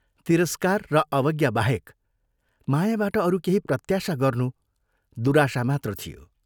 तिरस्कार र अवज्ञा बाहेक मायाबाट अरू केही प्रत्याशा गर्नु दुराशा मात्र थियो।